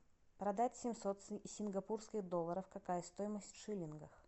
продать семьсот сингапурских долларов какая стоимость в шиллингах